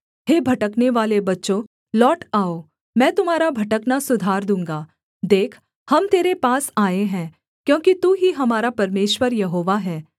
हे भटकनेवाले बच्चों लौट आओ मैं तुम्हारा भटकना सुधार दूँगा देख हम तेरे पास आए हैं क्योंकि तू ही हमारा परमेश्वर यहोवा है